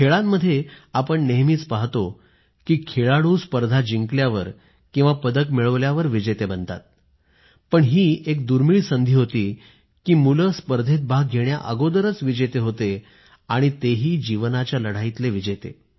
क्रीडामध्ये आपण नेहमीच पाहतो की खेळाडू स्पर्धा जिंकल्यावर किंवा पदक मिळवल्यावर विजेते बनतात पण ही एक दुर्मिळ संधी होती की ही मुलं स्पर्धेत भाग घेण्याअगोदरच विजेते होते आणि तेही जीवनाच्या लढाईत विजेते